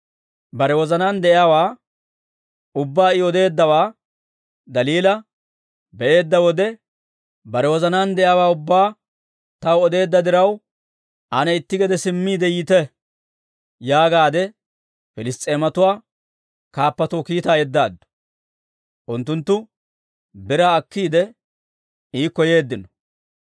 Bare wozanaan de'iyaawaa ubbaa I odeeddawaa Daliila be'eedda wode, «Bare wozanaan de'iyaawaa ubbaa taw odeedda diraw, ane itti gede simmiide yiite» yaagaadde Piliss's'eematuwaa kaappatoo kiitaa yeddaaddu. Unttunttu biraa akkiide, iikko yeeddino.